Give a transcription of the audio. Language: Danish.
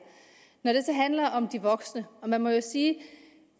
når det så handler om de voksne må man sige